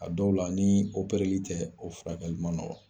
A dɔw la ni o opereli tɛ o furakɛli man nɔgɔn.